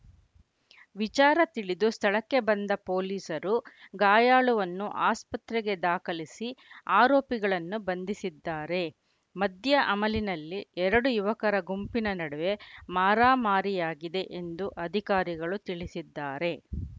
ವಿಚಾರ ತಿಳಿದು ಸ್ಥಳಕ್ಕೆ ಬಂದ ಪೊಲೀಸರು ಗಾಯಾಳುವನ್ನು ಆಸ್ಪತ್ರೆಗೆ ದಾಖಲಿಸಿ ಆರೋಪಿಗಳನ್ನು ಬಂಧಿಸಿದ್ದಾರೆ ಮದ್ಯ ಅಮಲಿನಲ್ಲಿ ಎರಡು ಯುವಕರ ಗುಂಪಿನ ನಡುವೆ ಮಾರಾಮಾರಿಯಾಗಿದೆ ಎಂದು ಅಧಿಕಾರಿಗಳು ತಿಳಿಸಿದ್ದಾರೆ